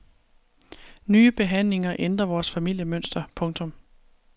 Nye behandlinger ændrer vores familiemønster. punktum